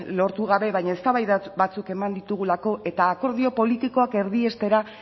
lortu gabe baina eztabaida batzuek eman ditugulako eta akordio politikoak erdiestera